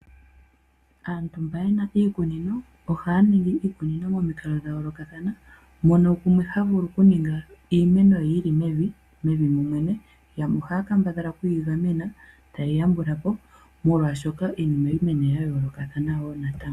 Aantu mboka yena iikunino ohaya ningi iikunino momikalo dha yoolokathana, mono gumwe ha vulu oku ninga iimeno ye yili mevi, mevi momwene, yamwe ohaya kambadhala okuyi gamena taye yi yambulapo, molwaashoka iimeno ohayi mene ya yoolokathana woo natango.